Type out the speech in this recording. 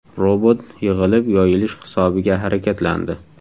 Robot yig‘ilib-yoyilish hisobiga harakatlandi.